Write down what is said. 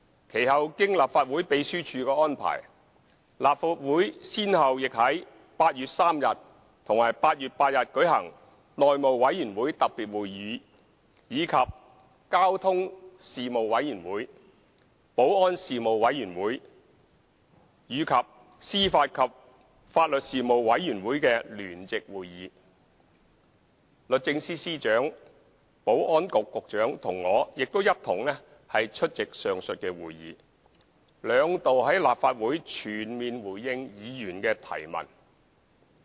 其後經立法會秘書處安排，立法會先後於8月3日和8月8日舉行內務委員會特別會議，以及交通事務委員會、保安事務委員會和司法及法律事務委員會的聯席會議，而律政司司長、保安局局長和我亦出席上述會議，兩度在立法會全面回應議員的提問。